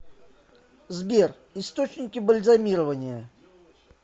сбер источники бальзамирование